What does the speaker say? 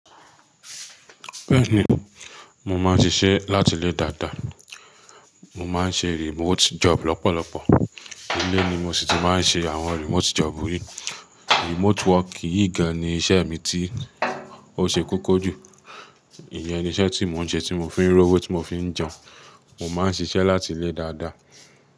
Bẹ́ẹ̀ni, mo máa ń ṣiṣẹ́ láti ilé dáadáa. Mo máa ń ṣe remote job lọ́pọ̀lọpọ̀. Ile ni mo sì ti máa ń ṣe àwọn remote job yìí. Remote work yìí gan ni iṣẹ́ mi tí ó ṣe kókó jù. Íyẹn ni iṣẹ́ tí mò ń ṣe, tí mò ń fi ń rówó tí mo fí ń jẹun. Mo máa ń ṣiṣẹ́ láti ilé dáadáa.